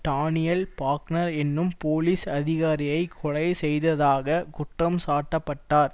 Daniel Faulkner என்னும் police அதிகாரியை கொலை செய்ததாக குற்றம் சாட்டப்பட்டார்